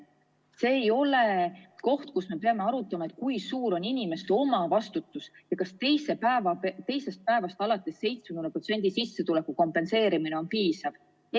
See ei ole koht, kus me peame arutama, kui suur on inimeste omavastutus ja kas teisest päevast alates 70% ulatuses sissetuleku kompenseerimine on piisav.